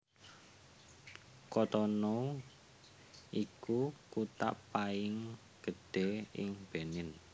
Cotonou iku kutha paing gedhé ing Benin